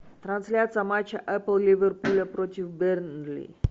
трансляция матча апл ливерпуля против бернли